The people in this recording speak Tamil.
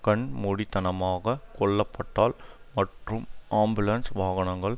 கண்மூடித்தனமாக கொல்லப்பட்டால் மற்றும் ஆம்புலன்ஸ் வாகனங்கள்